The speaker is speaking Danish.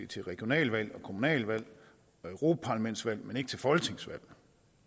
til regionalvalg kommunalvalg og europaparlamentsvalg men ikke til folketingsvalg